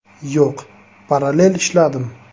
Yo‘q, parallel ishladim.